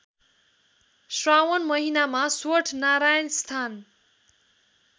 श्रावण महिनामा स्वठनारायणस्थान